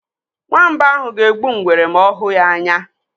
Nwamba ahụ ga-egbu ngwere ma ọ hụ ya anya.